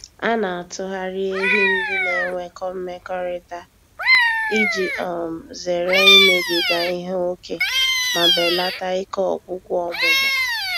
A na-atụgharị ehi ndị na-enwekọ mmekọrịta iji um zere imebiga ihe ókè ma belata ike ọgwụgwụ ọmụmụ.